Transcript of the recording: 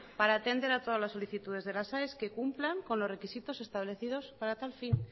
para atender a todas las solicitudes de las aes que cumplan con los requisitos establecidos para tal fin